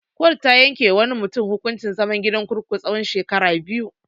Kotu ta yanke wa wani mutun hukuncin zaman gidan kurkuku tsawan shekara biyu.